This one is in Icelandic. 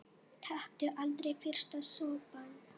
Taktu aldrei fyrsta sopann!